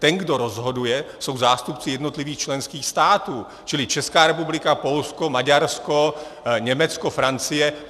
Ten, kdo rozhoduje, jsou zástupci jednotlivých členských států, čili Česká republika, Polsko, Maďarsko, Německo, Francie.